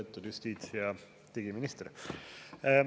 Lugupeetud justiits- ja digiminister!